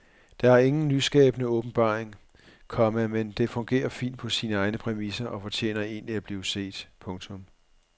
Den er ingen nyskabende åbenbaring, komma men den fungerer fint på sine egne præmisser og fortjener egentlig at blive set. punktum